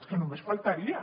és que només faltaria